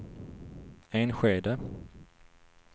Enskede